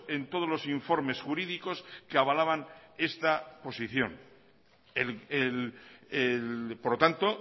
en todos los informes jurídicos que avalaban esta posición por lo tanto